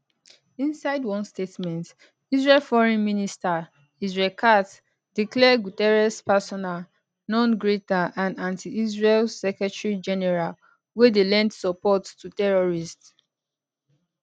inside one statement israel foreign minister israel katz declare guterres persona non grata and antiisrael secretarygeneral wey dey lend support to terrorists